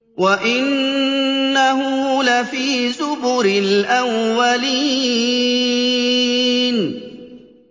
وَإِنَّهُ لَفِي زُبُرِ الْأَوَّلِينَ